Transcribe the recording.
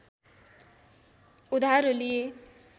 उधारो लिए